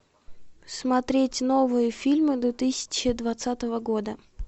смотреть новые фильмы две тысячи двадцатого года